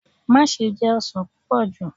Maṣe jẹ ọsan pupọ ju!